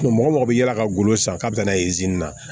mɔgɔ mɔgɔ bɛ yaala ka golo san k'a bɛ taa n'a ye na